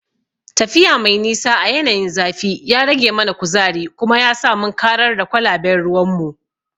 Tafiya mai nisa a yanayin zafi ya rage mana kuzari kuma yasa mun karar da kwalaben ruwanmu.